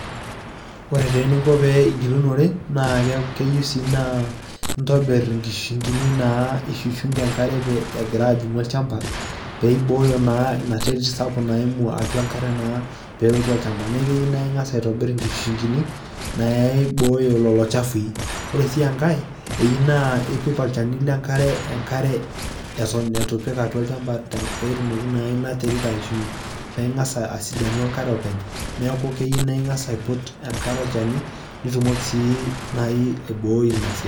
Ore taa eninko peyie igilunore naake keyiu sii naa intobir inkishungi'ni naa ishushung'a enkare egira ajing'u olchamba pee iboyo naa ina terit sapuk naimu atua enkare naa peelotu olchamba. Keyiu naa ing'asa aitobir nena ng'ishushung'ini naiboyo lelo chafui. Ore sii enkae iyiu naa ipik olchani le nkare atua enkare eton itu ipik olchamba peetumoki naa ina terit aishunye peng'asa asidanu enkare openy. Neeku keyiu naa ing'asa aiput enkare olchani nitumoki sii nai aiboi ina siai.